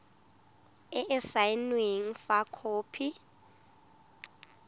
e e saenweng fa khopi